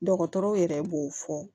Dɔgɔtɔrɔw yɛrɛ b'o fɔ